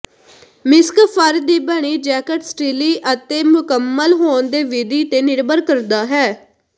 ਮਿਸਕ fur ਦੀ ਬਣੀ jacket ਸਟਿੱਲੀ ਅਤੇ ਮੁਕੰਮਲ ਹੋਣ ਦੀ ਵਿਧੀ ਤੇ ਨਿਰਭਰ ਕਰਦਾ ਹੈ